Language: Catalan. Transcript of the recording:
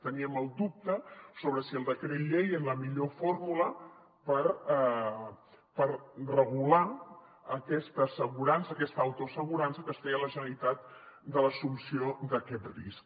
teníem el dubte sobre si el decret llei era la millor fórmula per regular aquesta assegurança aquesta autoassegurança que es feia la generalitat de l’assumpció d’aquest risc